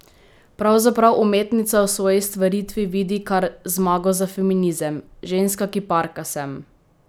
Pravzaprav umetnica v svoji stvaritvi vidi kar "zmago za feminizem": "Ženska kiparka sem.